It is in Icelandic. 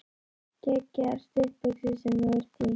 Geggjaðar stuttbuxur sem þú ert í!